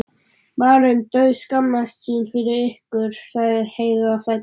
Maður dauðskammast sín fyrir ykkur, sagði Heiða æst.